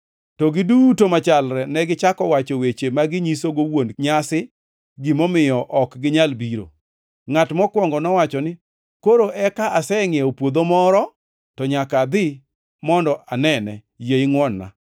“To giduto machalre negichako wacho weche ma ginyisogo wuon nyasi gimomiyo ok ginyal biro. Ngʼat mokwongo nowacho ni, ‘Koro eka asengʼiewo puodho moro, to nyaka adhi mondo anene. Yie ingʼwon-na.’